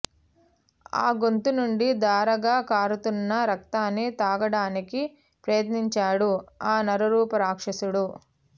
ఆ గొంతు నుండి ధారగా కారుతున్న రక్తాన్ని తాగడానికి ప్రయత్నించాడు ఆ నరరూప రాక్షసుడు